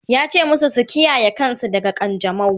yace masu su kiyaye kansu daga kanjamau!